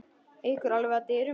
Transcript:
Ekur alveg upp að dyrum.